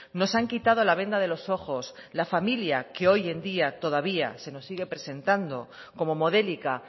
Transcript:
nos han quitado la venda de los ojos la familia que hoy en día todavía se nos sigue presentando como modélica